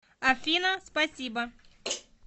афина спасибо